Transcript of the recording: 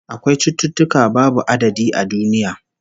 Akwai cututtuka babu adadi a duniya